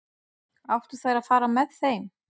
Áttu þær að fara með þeim?